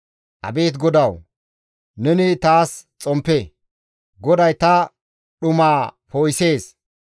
Abeet GODAWU! Neni taas xomppe; GODAY ta dhumaa poo7isees.